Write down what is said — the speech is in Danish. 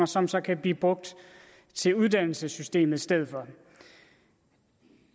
som så kan blive brugt til uddannelsessystemet i stedet for